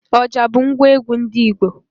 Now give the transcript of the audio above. Ọjà bụ ngwa egwu ndị Igbo